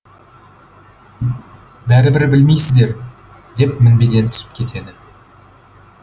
бәрібір білмейсіздер деп мінбеден түсіп кетеді